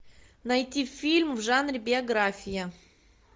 найти фильм в жанре биография